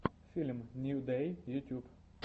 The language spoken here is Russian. фильм нью дэй ютюб